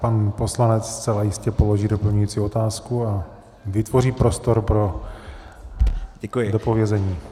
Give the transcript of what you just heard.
Pan poslanec zcela jistě položí doplňující otázku a vytvoří prostor pro dopovězení.